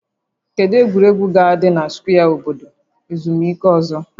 Kedu egwuregwu ga-adị na skwee obodo ezumike ọzọ?